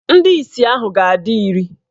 Ndị isi ahụ ga-adị iri.